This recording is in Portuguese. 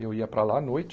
Eu ia para lá à noite.